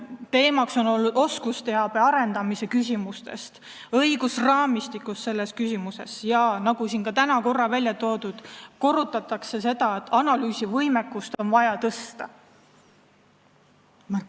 Teemaks on olnud oskusteabe arendamise küsimused ja õigusraamistik selles küsimuses ning korrutatakse seda, nagu siin ka täna korra välja on toodud, et analüüsivõimekust on vaja tõsta.